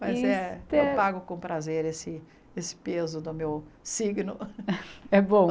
Mas é, eu pago com prazer esse esse peso do meu signo. Eh bom